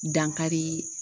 Dankari